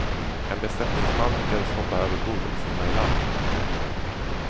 En besättningsman lyckades hoppa överbord och simma i land.